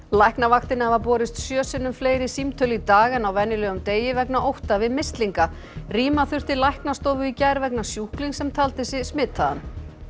læknavaktinni hafa borist sjö sinnum fleiri símtöl í dag en á venjulegum degi vegna ótta við mislinga rýma þurfti læknastofu í gær vegna sjúklings sem taldi sig smitaðan